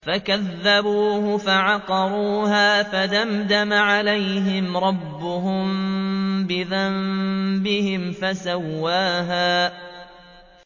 فَكَذَّبُوهُ فَعَقَرُوهَا فَدَمْدَمَ عَلَيْهِمْ رَبُّهُم بِذَنبِهِمْ فَسَوَّاهَا